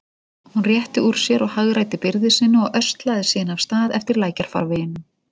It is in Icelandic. Hún rétti úr sér og hagræddi byrði sinni og öslaði síðan af stað eftir lækjarfarveginum.